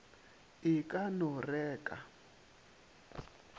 e ka no re ka